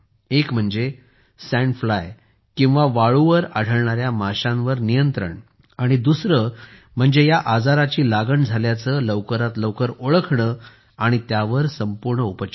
एक म्हणजे sand fly किंवा वाळूवर आढळणाऱ्या माशांवर नियंत्रण आणि दुसरे म्हणजे या आजाराची लागण झाल्याचे लवकरात लवकर ओळखणे आणि त्यावर पूर्ण उपचार